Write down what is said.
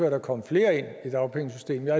at der kommer flere ind i dagpengesystemet